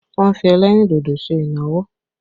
Wọn fi ẹlẹ́rìn dodo ṣe ìnáwó